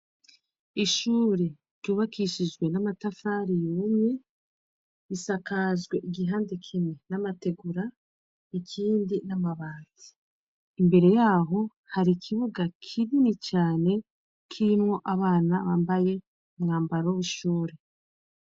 Ishure ryubakishijwe n'amatafari yumye risakajwe igihande kimwe n'amategura ikindi n'amabati ,imbere yaho hari ikibuga kinini cane, kirimwo abana bambaye umwambaro w'ishure.